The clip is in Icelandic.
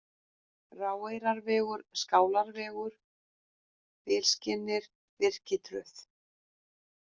Ráeyrarvegur, Skálarvegur, Bilskirnir, Birkitröð